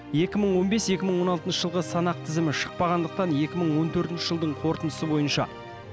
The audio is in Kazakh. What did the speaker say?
екі мың он бес екі мың он алтыншы жылғы санақ тізімі шықпағандықтан екі мың он төртінші жылдың қорытындысы бойынша